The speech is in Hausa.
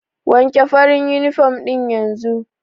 Wanke farin uniform ɗin yanzu!